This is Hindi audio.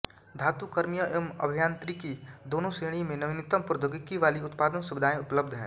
धातु कर्मीय एवं अभियांत्रिकी दोनों श्रेणी में नवीनतम प्रौद्योगिकी वाली उत्पादन सुविधांए उपलब्ध हैं